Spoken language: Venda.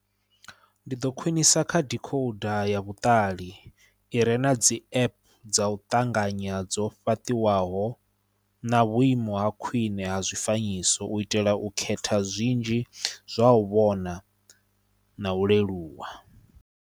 Ndi ḓo khwinisa kha decoder ya vhuṱali I re na dzi app dza u ṱanganya dzo fhaṱIwaho na vhuimo ha khwine ha zwifanyiso u itela u khetha zwinzhi zwa u vhona na u leluwa.